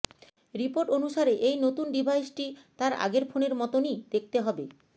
report অনুসারে এই নতুন ডিভাইসটি তার আগের ফোনের মতনই দেখতে হবে